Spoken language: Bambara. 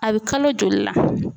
A bɛ kalo joli la.